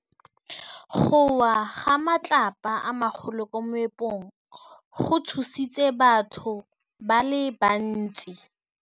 Go wa ga matlapa a magolo ko moepong go tshositse batho ba le bantsi.